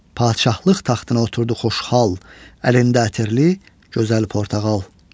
Padşahlıq taxtına oturdu xoşhal, əlində ətirli gözəl portağal.